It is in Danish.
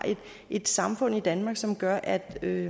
et samfund i danmark som gør at der i